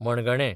मणगाणें